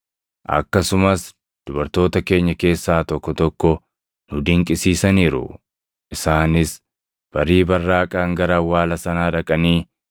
Akkasumas dubartoota keenya keessaa tokko tokko nu dinqisiisaniiru; isaanis barii barraaqaan gara awwaala sanaa dhaqanii,